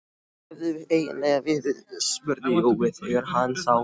Hvar hefurðu eiginlega verið? spurði Jói þegar hann sá